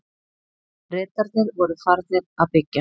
Bretarnir voru farnir að byggja.